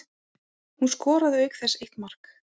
Hún skoraði auk þess eitt mark